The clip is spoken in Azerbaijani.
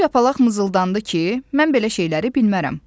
Kor yapalaq mızıldandı ki, mən belə şeyləri bilmərəm.